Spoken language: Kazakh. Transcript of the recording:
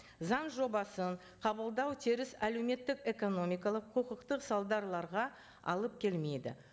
заң жобасын қабылдау теріс әлеуметтік экономикалық құқықтық алып келмейді